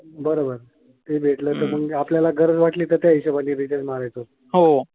बरोबर. ते भेटल तर मगआपल्याला गरज वाटली तर त्याच्याहिशोबाने रिचार्ज मारायचं.